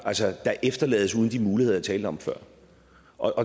efterlades uden de muligheder jeg talte om før